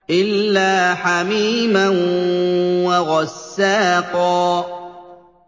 إِلَّا حَمِيمًا وَغَسَّاقًا